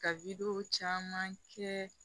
Ka caman kɛ